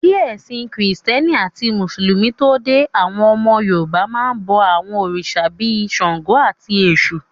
Kí ẹ̀sìn krìstẹ́nì àti mùsùlùmí tó dé, àwọn ọmọ Yorùbá máa n bọ àwọn òrìṣà bíi ṣàngó, àti èṣù